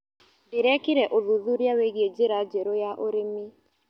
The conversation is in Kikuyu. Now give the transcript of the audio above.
Ndĩrekire ũthuthuria wĩgie njĩra njerũ ya ũrĩmi.